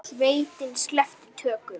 Sveitin sleppti tökum.